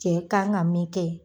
Cɛ kan ŋa min kɛ